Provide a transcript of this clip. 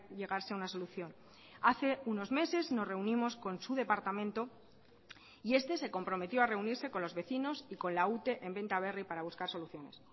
llegarse a una solución hace unos meses nos reunimos con su departamento y este se comprometió a reunirse con los vecinos y con la ute en benta berri para buscar soluciones